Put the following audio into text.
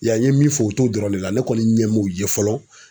I y'a ye a, i ye min fɔ u t'o dɔrɔn de la .Ne kɔni ɲɛ m'u ye fɔlɔ